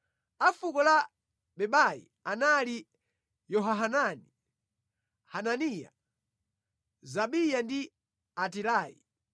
A fuko la Bebai anali Yehohanani, Hananiya, Zabayi ndi Atilayi.